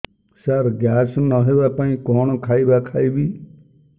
ସାର gas ନ ହେବା ପାଇଁ କଣ ଖାଇବା ଖାଇବି